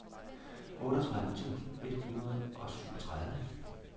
otteogtredive tusind et hundrede og syvogtredive